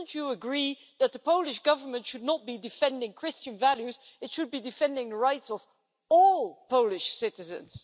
Wouldn't you agree that the Polish Government should not be defending Christian values, it should be defending the rights of all Polish citizens?